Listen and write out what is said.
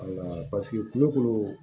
kulo kolo